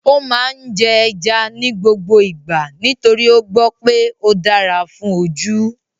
Ó máa ń jẹ́ ẹja ní gbogbo ìgbà nítorí ó gbọ́ pé ó dára fún ojú